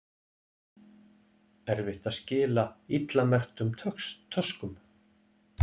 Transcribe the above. Erfitt að skila illa merktum töskum